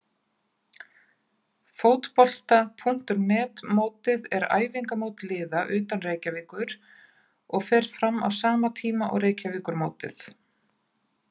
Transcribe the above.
Fótbolta.net mótið er æfingamót liða utan Reykjavíkur og fer fram á sama tíma og Reykjavíkurmótið.